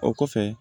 O kɔfɛ